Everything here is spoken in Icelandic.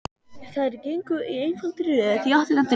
Þær gengu í einfaldri röð í áttina til hans.